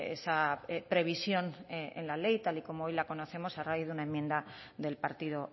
esa previsión en la ley tal y como hoy la conocemos a raíz de una enmienda del partido